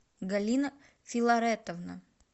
галина филаретовна